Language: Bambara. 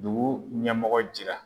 Dugu ɲɛmɔgɔ jira